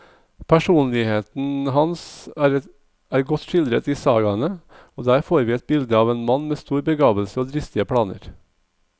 Personligheten hans er godt skildret i sagaene, og der får vi et bilde av en mann med stor begavelse og dristige planer.